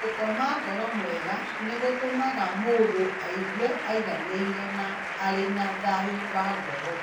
Gũkoma toro mwega nĩ gũtũmaga mũndũ aigue aiganĩire na arĩ na thayũ wa ngoro.